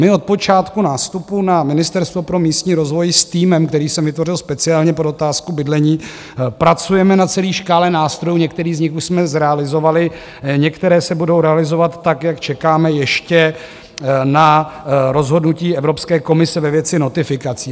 My od počátku nástupu na Ministerstvo na místní rozvoj s týmem, který jsem vytvořil speciálně pro otázku bydlení, pracujeme na celé škále nástrojů, některé z nich už jsme zrealizovali, některé se budou realizovat tak, jak čekáme ještě na rozhodnutí Evropské komise ve věci notifikací.